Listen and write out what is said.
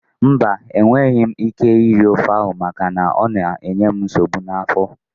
Mba, enweghị m ike iri ofe ahụ maka na ọ ga-enye m nsogbu n'afọ